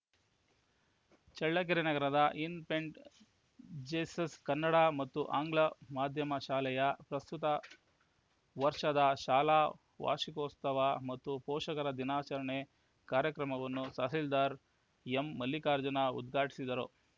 ಚಳ್ಳಕೆರೆ ನಗರದ Infant Jesus Kannada ಮತ್ತು ಆಂಗ್ಲ ಮಾಧ್ಯಮ ಶಾಲೆಯ ಪ್ರಸ್ತುತ ವರ್ಷದ ಶಾಲಾ ವಾರ್ಷಿಕೋತ್ಸವ ಮತ್ತು ಪೋಷಕರ ದಿನಾಚರಣೆ ಕಾರ್ಯಕ್ರಮವನ್ನು ತಹಶೀಲ್ದಾರ್‌ ಎಂಮಲ್ಲಿಕಾರ್ಜುನ ಉದ್ಘಾಟಿಸಿದರು